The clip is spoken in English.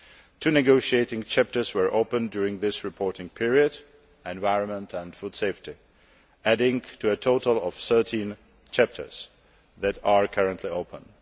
Two negotiating chapters were opened during this reporting period environment and food safety adding to a total of 13 chapters that are currently open.